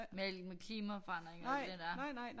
Med alt det med klimaforandringer og alt det der